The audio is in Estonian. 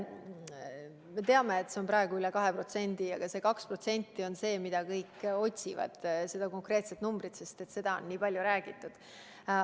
Me teame, et see on praegu üle 2% ja see 2% on see konkreetne number, mida kõik otsivad, sest sellest on nii palju räägitud.